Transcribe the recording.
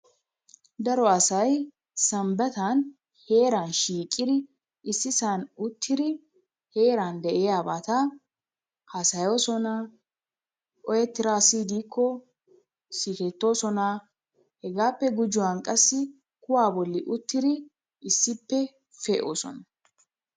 Daro assay sambattan heranni shiqiddi issi so'huwann uttiddi herani de'iya batta hasayosonna oyettidda assi diko siggetosonna hegappe gujuwanni qassi kuwaa bolli uttidi issippe pe'ossonna.